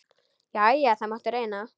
Jæja, það mátti reyna.